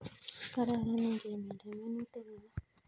Kararan ingeminda minutik alak."